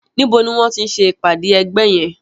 Nibo ni wọ́n ń ti ṣe ìpàdé ẹgbẹ́ yẹn?